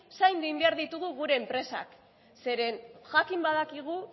zaindu egin behar ditugu gure enpresak zeren jakin badakigu